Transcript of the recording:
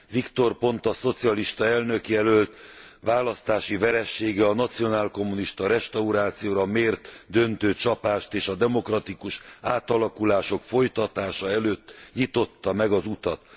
Victor Ponta szocialista elnökjelölt választási veresége a nacionálkommunista restaurációra mért döntő csapást, és a demokratikus átalakulások folytatása előtt nyitotta meg az utat.